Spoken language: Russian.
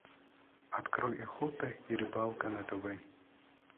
открой охота и рыбалка на тв